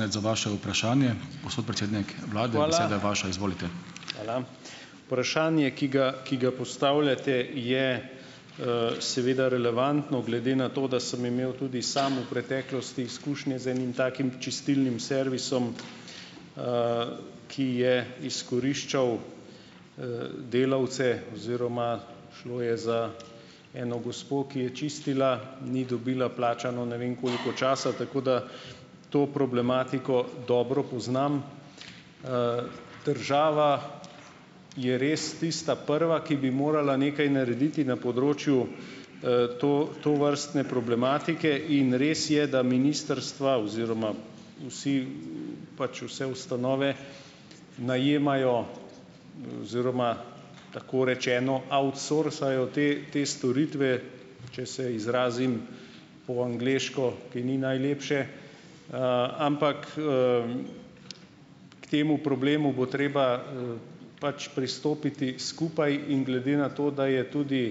Hvala. Vprašanje, ki ga, ki ga postavljate, je, seveda relevantno. Glede na to, da sem imel tudi sam v preteklosti izkušnje z enim takim čistilnim servisom, ki je izkoriščal, delavce oziroma šlo je za eno gospo, ki je čistila, ni dobila plačano, ne vem, koliko časa , tako da to problematiko dobro poznam. Država je res tista prva, ki bi morala nekaj narediti na področju, tovrstne problematike in res je, da ministrstva oziroma vsi, pač vse ustanove najemajo, oziroma tako rečeno outsourcajo te te storitve, če se izrazim po angleško, ki ni najlepše, ampak, k temu problemu bo treba, pač pristopiti skupaj in glede na to, da je tudi,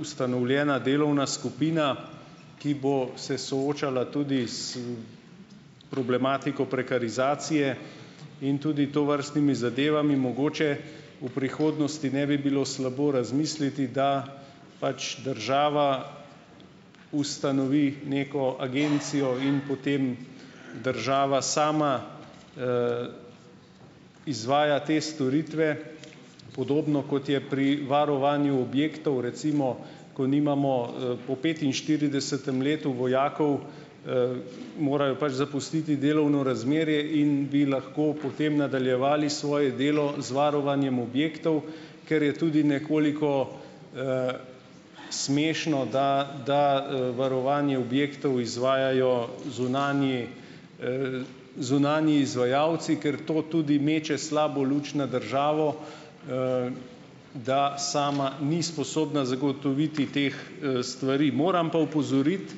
ustanovljena delovna skupina, ki bo se soočala tudi s problematiko prekarizacije in tudi tovrstnimi zadevami, mogoče v prihodnosti ne bi bilo slabo razmisliti, da pač država ustanovi neko agencijo in potem država sama, izvaja te storitve, podobno kot je pri varovanju objektov. Recimo, ko nimamo, po petinštiridesetem letu vojakov, morajo pač zapustiti delovno razmerje in bi lahko potem nadaljevali svoje delo z varovanjem objektov, ker je tudi nekoliko, smešno, da varovanje objektov izvajajo zunanji, zunanji izvajalci, ker to tudi meče slabo luč na državo, da sama ni sposobna zagotoviti teh, stvari. Moram pa opozoriti,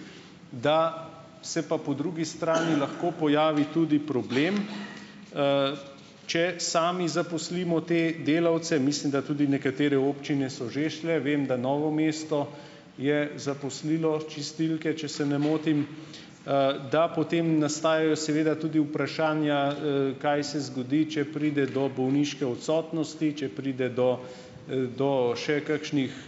da se pa po drugi strani lahko pojavi tudi problem, če sami zaposlimo te delavce. Mislim, da tudi nekatere občine so že šle, vem, da Novo mesto je zaposlilo čistilke, če se ne motim, da potem nastajajo seveda tudi vprašanja, kaj se zgodi, če pride do bolniške odsotnosti, če pride do, do še kakšnih,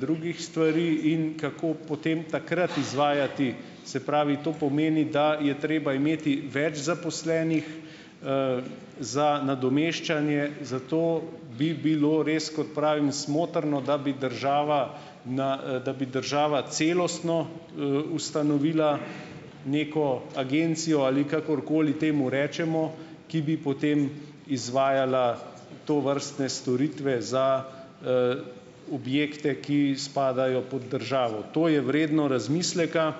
drugih stvari in kako potem takrat izvajati, se pravi, to pomeni, da je treba imeti več zaposlenih, za nadomeščanje, zato bi bilo res, kot pravim, smotrno, da bi država na, da bi država celostno, ustanovila neko agencijo ali kakorkoli temu rečemo, ki bi potem izvajala tovrstne storitve za, objekte, ki spadajo pod državo. To je vredno razmisleka.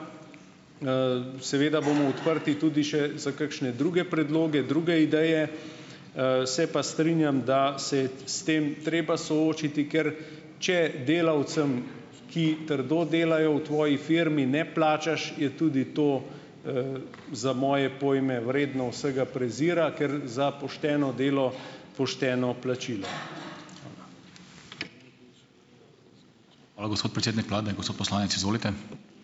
Seveda bomo odprti tudi še za kakšne druge predloge, druge ideje, se pa strinjam, da se je s tem treba soočiti, ker če delavcem, ki trdo delajo v tvoji firmi, ne plačaš, je tudi to, za moje pojme vredno vsega prezira, ker za pošteno delo, pošteno plačilo.